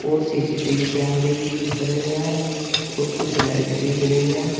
और सी_सी_टी_वी कैमरे भी दिख रहे हैं और कुछ लाइट दिख रही है।